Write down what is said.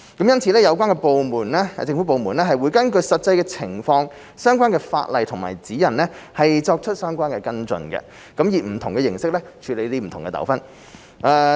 因此，有關的政府部門會根據實際情況、相關法例和指引作出跟進，以不同形式處理不同糾紛。